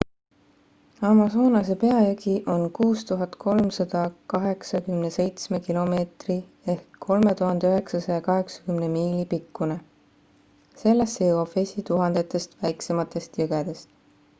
amazonase peajõgi on 6387 km 3980 miili pikkune. sellesse jõuab vesi tuhandetest väiksematest jõgedest